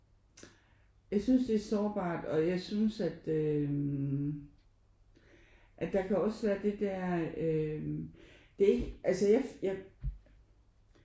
Jeg synes det er sårbart og jeg synes at øh at der kan også være det der øh det altså jeg jeg